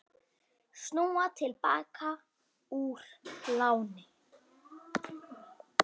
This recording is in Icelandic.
Snúa til baka úr láni